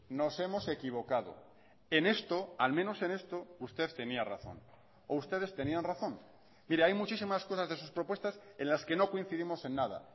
nos hemos equivocado en esto al menos en esto usted tenía razón o ustedes tenían razón mire hay muchísimas cosas de sus propuestas en las que no coincidimos en nada